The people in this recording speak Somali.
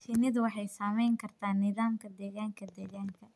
Shinnidu waxay saamayn kartaa nidaamka deegaanka deegaanka.